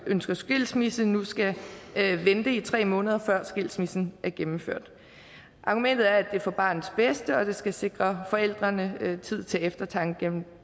ønsker skilsmisse nu skal vente i tre måneder før skilsmissen er gennemført argumentet er at det er for barnets bedste og at det skal sikre forældrene tid til eftertanke